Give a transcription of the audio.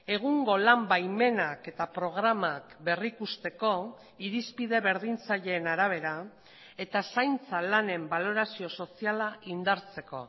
egungo lan baimenak eta programak berrikusteko irizpide berdintzaileen arabera eta zaintza lanen balorazio soziala indartzeko